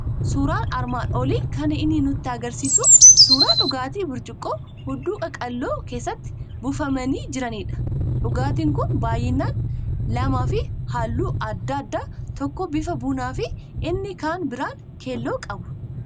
Suuraan armaan olii kan inni nutti argisiisu suuraa dhugaatii burcuqqoo hudduu qaqal'oo keessatti buufamanii jiranidha. Dhugaatiin kun baay'inaan lamaa fi halluu adda addaa tokko bifa bunaa fi inni kan biraan keelloo qabu.